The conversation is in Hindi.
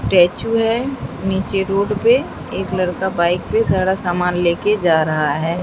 स्टैचू है नीचे रोड पे एक लड़का बाइक पे सारा सामान ले के जा रहा है।